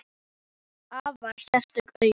Hann er með afar sérstök augu.